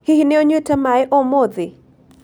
Hihi nĩ ũnyuĩte maĩ ũmũthĩ?